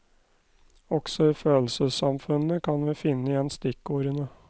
Også i følelsessamfunnet kan vi finne igjen stikkordene.